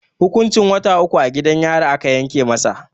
Hukuncin wata uku a gidan yari aka yanke masa.